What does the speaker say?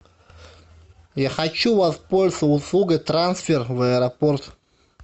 я хочу воспользоваться услугой трансфер в аэропорт